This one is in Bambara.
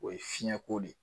O ye fiɲɛko de ye